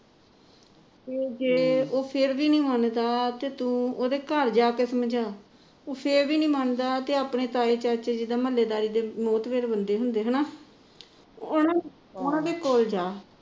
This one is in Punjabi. ਤੇ ਜੇ ਉਹ ਫਿਰ ਵੀ ਨਹੀ ਮੰਨਦਾ ਤੂੰ ਉਹਦੇ ਘਰ ਜਾ ਕੇ ਸਮਝਾ ਉਹ ਫੇਰ ਵੀ ਨਹੀ ਮੰਨਦਾ ਤਾਈ ਚਾਚੇ ਦੇ ਮਹੁਲੇਦਾਰੀ ਦੇ ਵੱਡੇ ਹੁੰਦੇ ਨਾ ਉਹਨਾ ਨੂੰ ਉਹਨਾ ਦੇ ਕੋਲ ਜਾ